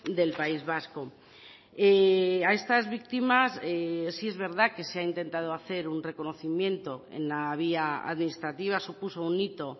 del país vasco a estas víctimas sí es verdad que se ha intentado hacer un reconocimiento en la vía administrativa supuso un hito